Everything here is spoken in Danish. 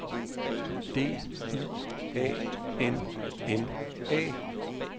D I A N N A